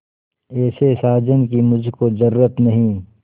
ऐसे साजन की मुझको जरूरत नहीं